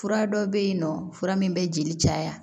Fura dɔ bɛ yen nɔ fura min bɛ jeli caya